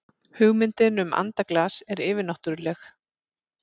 hugmyndin um andaglas er yfirnáttúrleg